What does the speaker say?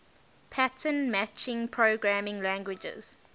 pattern matching programming languages